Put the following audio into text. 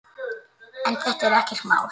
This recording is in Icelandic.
En þetta er ekkert mál.